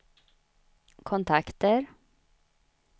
kontakter